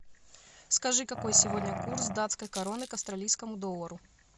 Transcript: скажи какой сегодня курс датской короны к австралийскому доллару